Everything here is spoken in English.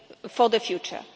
way for the future.